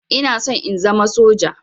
Ina son in zama soja.